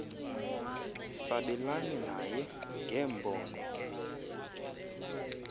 sabelane naye ngeembono